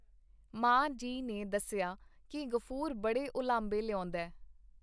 ਮਾਂ ਜੀ ਨੇ ਦੱਸਿਆ ਕੀ ਗ਼ਫੂਰ ਬੜੇ ਉਲਾਂਭੇ ਲਿਆਉਂਦੈ.